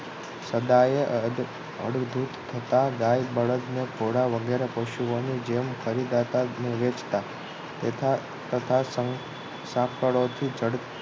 સદાયે અડ અડધુંત થતા બળદને ઘોડા વગેરે પશુઓની જેમ ખરીદાતા અને વેચતા તથા તથા સાંક સાંકળોથી જક